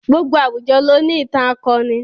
Gbogbo àwùjọ ló ní ìtàn akọni.